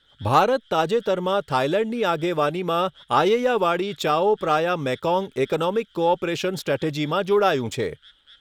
ભારત તાજેતરમાં થાઇલેન્ડની આગેવાનીમાં Ayeyawady Chao Phraya Mekong economic cooperation સ્ટ્રેટજીમાં જોડાયું છે.